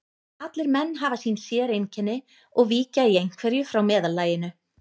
Allir menn hafa sín séreinkenni og víkja í einhverju frá meðallaginu.